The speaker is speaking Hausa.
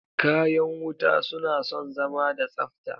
Kayan wuta suna son zama da tsafta